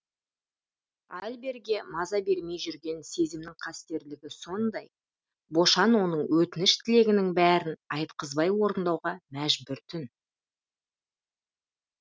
альберге маза бермей жүрген сезімнің қастерлігі сондай бошан оның өтініш тілегінің бәрін айтқызбай орындауға мәжбүр тін